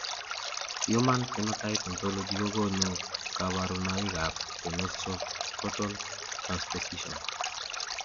Human Phenotype Ontology kokonu kabarunoikab Penoscrotal transposition.